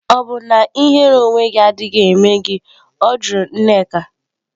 Ọ̀ bụ na ihere onwe gị adịghị eme gị? Ọ jụrụ nneka.